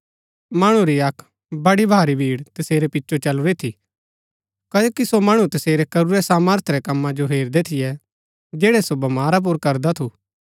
मणु री अक्क बडी भारी भीड़ तसेरै पिचो चलुरी थी क्ओकि सो मणु तसेरै करूरै सामर्थ रै कम्मा जो हेरदै थियै जैड़ै सो बमारा पुर करदा थू